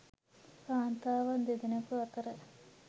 කාන්තාවන් දෙදෙනෙකු අතර